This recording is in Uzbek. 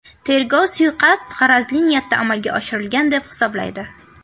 Tergov suiqasd g‘arazli niyatda amalga oshirilgan, deb hisoblaydi.